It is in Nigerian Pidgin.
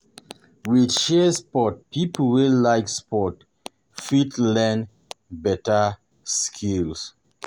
With shared sport pipo wey like sport fit learn better skills